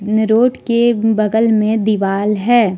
इन road के बगल में दीवाल है।